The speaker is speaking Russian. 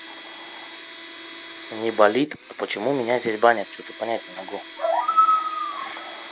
не болит а почему у меня здесь баня что-то понять не могу